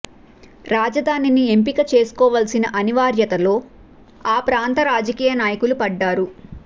రాజధానిని ఎంపిక చేసుకోవాల్సిన అనివార్యతలో ఆ ప్రాంత రాజకీయ నాయకులు పడ్డారు